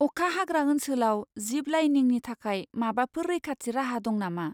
अखा हाग्रा ओनसोलाव जिप लाइनिंनि थाखाय माबाफोर रैखाथि राहा दं नामा?